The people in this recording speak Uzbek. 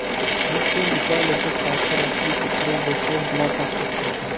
Bryussel Italiyaga qarshi rasmiy tekshiruv boshlash bilan tahdid qildi.